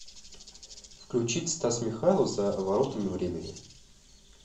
включить стас михайлов за воротами времени